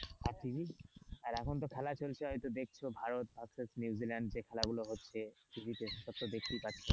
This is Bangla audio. আর tv আর এখন তো খেলা চলছে হয়তো দেখছো ভারত versus নিউজিল্যান্ড যে খেলা গুলো হচ্ছে tv তে সব দেখতেই পাচ্ছ।